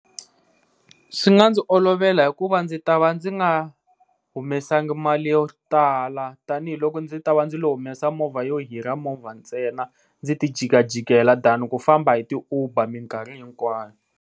Swi nga ndzi olovela hikuva ndzi ta va ndzi nga humesangi mali yo tala tanihiloko ndzi ta va ndzi lo humesa movha yo hira movha ntsena, ndzi ti jikajikela than ku famba hi ti Uber minkarhi hinkwayo.